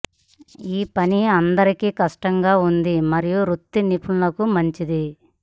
ఈ పని అందరికి కష్టంగా ఉంది మరియు వృత్తి నిపుణులకు మంచిది